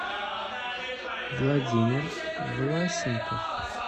владимир власенков